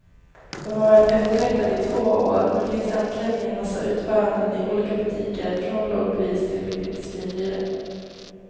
De har varit eftertraktade i två år, men finns äntligen i en massa utföranden i olika butiker från lågpris till riktigt svindyra.